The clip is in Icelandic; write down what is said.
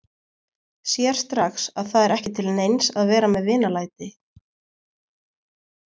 Sér strax að það er ekki til neins að vera með vinalæti.